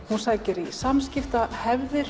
hún sækir í